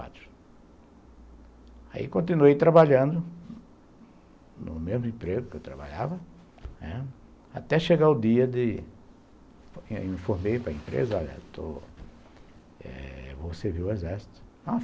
Aí continuei trabalhando no mesmo emprego que eu trabalhava, né, até chegar o dia de informar para a empresa, vou servir o Exército.